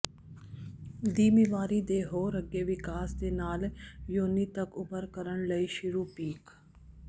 ਦੀ ਬਿਮਾਰੀ ਦੇ ਹੋਰ ਅੱਗੇ ਵਿਕਾਸ ਦੇ ਨਾਲ ਯੋਨੀ ਤੱਕ ਉਭਰ ਕਰਨ ਲਈ ਸ਼ੁਰੂ ਪੀਕ